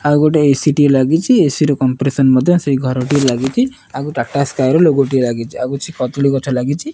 ଆଉ ଗୋଟିଏ ଏ_ସି ଟିଏ ଲାଗିଚି ଏ_ସି ର କମ୍ପ୍ରେଶନ ମଧ୍ୟ ସେଇ ଘରକୁ ଲାଗିଚି ଆଉ ଟାଟା ସ୍କାଏ ର ଲୋଗୋ ଟି ଲାଗିଚି ଆଉ କିଛି କଦଳୀ ଗଛ ଲାଗିଚି।